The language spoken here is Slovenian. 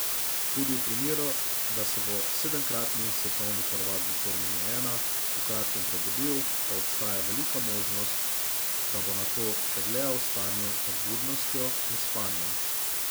Tudi v primeru, da se bo sedemkratni svetovni prvak v formuli ena v kratkem prebudil, pa obstaja velika možnost, da bo nato še dlje v stanju med budnostjo in spanjem.